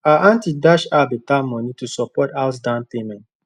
her aunty dash her better money to support house down payment